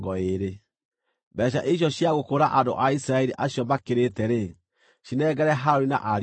Mbeeca icio cia gũkũũra andũ a Isiraeli acio makĩrĩte-rĩ, cinengere Harũni na ariũ ake.”